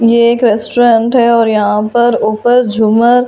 यह एक रैसटुरन्ट है और यहाँ पर ऊपर झूमर लगा --